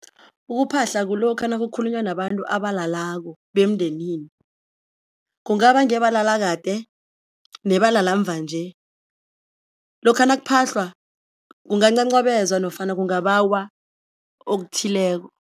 Ukuphahla kulokha nakukhulunywa nabantu abalalako bemndenini, kungaba ngebalala kade nebalala mva nje, lokha nakuphahlwa kungancancabezwa nofana kungabawa okuthileko.